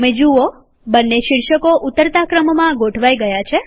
તમે જુઓ બંને શીર્ષકો ઉતરતા ક્રમમાં ગોઠવાઈ ગયા છે